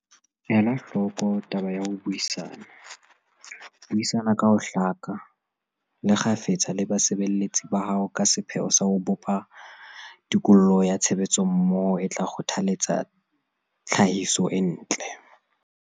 Ela hloko taba ya ho buisana. Buisana ka ho hlaka, le kgafetsa le basebeletsi ba hao ka sepheo sa ho bopa tikoloho ya tshebetsommoho e tla kgothaletsa tlhahiso e ntle.